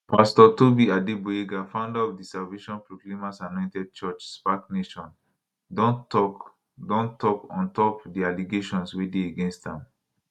pastor tobi adegboyega founder of di salvation proclaimers anointed church spac nation don tok don tok ontop di allegations wey dey against am